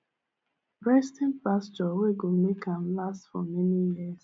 resting pasture well go make am last for many years